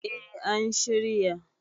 eh an shirya